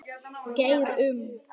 Geir Um.